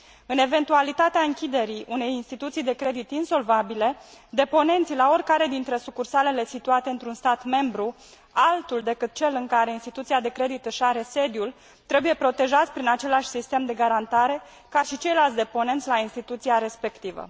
În eventualitatea închiderii unei instituții de credit insolvabile, deponenții, la oricare dintre sucursalele situate într un stat membru, altul decât cel în care instituția de credit își are sediul, trebuie protejați prin același sistem de garantare ca și ceilalți deponenți la instituția respectivă.